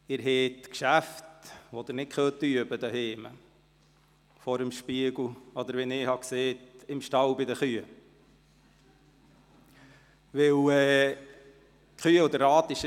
Sie haben Geschäfte, für die Sie nicht zu Hause üben können, sei es vor dem Spiegel oder sei es im Stall bei den Kühen, wie ich es gesagt hatte.